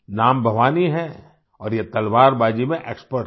नाम भवानी है और ये तलवारबाजी में एक्सपर्ट हैं